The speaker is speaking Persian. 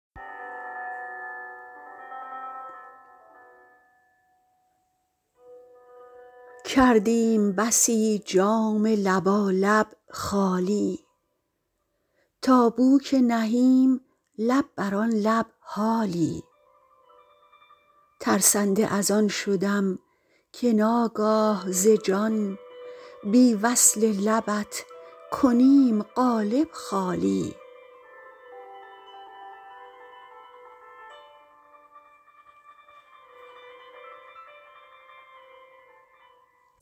کردیم بسی جام لبالب خالی تا بو که نهیم لب بران لب حالی ترسنده ازان شدم که ناگاه ز جان بی وصل لبت کنیم قالب خالی